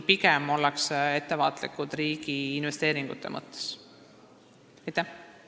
Siin ollakse riigi investeeringute mõttes pigem ettevaatlikud.